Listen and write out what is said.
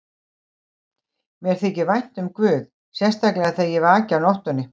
Mér þykir vænt um guð, sérstaklega þegar ég vaki á nóttunni.